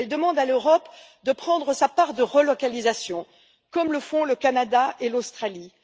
Elle demande à l'Europe d'accepter sa part des relocalisations, comme le font le Canada et l'Australie.